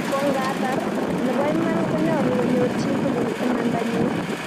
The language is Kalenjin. ko ngatar, nebo iman konyalu konyor chii tugul imanda nyii